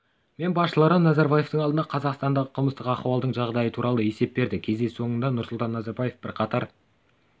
мен басшылары назарбаевтың алдында қазақстандағы қылмыстық ахуалдың жағдайы туралы есеп берді кездесу соңында нұрсұлтан назарбаев бірқатар